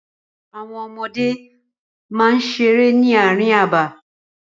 Àwọn ọmọdé máa ń seré ní àárín abà.